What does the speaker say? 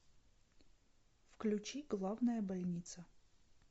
включи главная больница